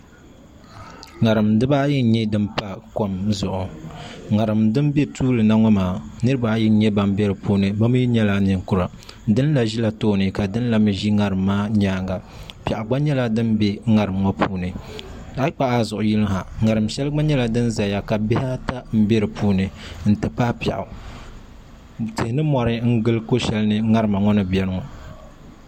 ŋarim dibaayi n nyɛ din pa kom zuɣu ŋarim din bɛ tuuli na ŋo maa niraba ayi n nyɛ ban bɛ dinni bi mii nyɛla ninkura dinla ʒila tooni ka dinla mii ʒi ŋarim maa nyaanga piɛɣu gba nyɛla din bɛ ŋarim ŋo puuni a yi kpuɣu a zuɣu lihi ha ŋarim shɛli gba nyɛla din ʒɛya ka bihi ata n bɛ di puuni n ti pahi piɛɣutihi ni mori n gili ko shɛli ni ŋarima ŋo ni biɛni ŋo